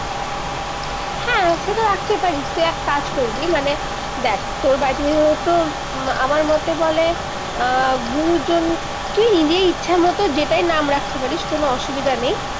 রাখতে পারিস তুই এক কাজ করবি মানে দেখ তর বাড়িতে যিহেতু তর আমার মতে বলে আহ গুরুজন তুই নিজেই ইচ্ছা মতো যেটাই নাম রাখতে পারিস কোনো অসুবিধা নেই-